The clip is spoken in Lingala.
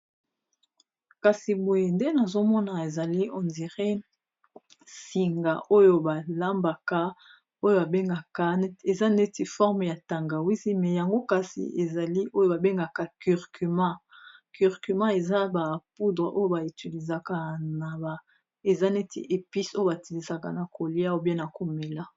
kasi boye nde nazomona ezali ondiren singa oyo balambaka oyo bengka eza neti forme ya tangawisi me yango kasi ezali oyo babengaka curcuma curcuma eza ba poudre oyo baetilisaka naba eza neti epise oyo batilisaka na kolia obie na komela